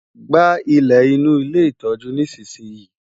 Gba ilẹ̀ inú ilé ìtọ́jú nísinsìnyí!